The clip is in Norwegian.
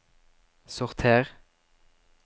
sorter